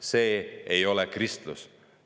See ei ole kristlus.